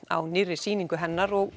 á nýrri sýningu hennar og